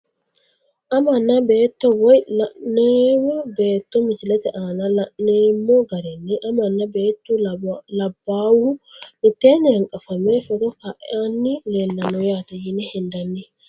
Amanna beeto woyi lanawo beeto misilete aana laneemo garinni amana beetu labawohu miteeni hanqafame foto ka`ani leelano yaate yine hendani.